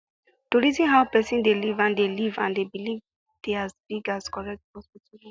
to reason how person dey live and dey live and believe dey as big as correct hospital work